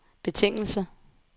betingelse